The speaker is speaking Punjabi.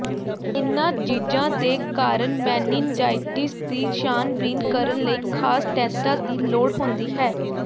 ਇਨ੍ਹਾਂ ਜੀਜ਼ਾਂ ਦੇ ਕਾਰਨ ਮੈਨਿਨਜਾਈਟਿਸ ਦੀ ਛਾਣਬੀਣ ਕਰਨ ਲਈ ਖ਼ਾਸ ਟੈਸਟਾਂ ਦੀ ਲੋੜ ਹੁੰਦੀ ਹੈ